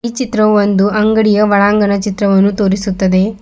ಈ ಚಿತ್ರವು ಒಂದು ಅಂಗಡಿಯ ಒಳಾಂಗಣ ಚಿತ್ರವನ್ನು ತೋರಿಸುತ್ತದೆ.